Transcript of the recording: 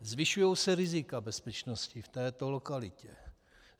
Zvyšují se rizika bezpečnosti v této lokalitě.